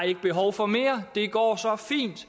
ikke behov for mere det går så fint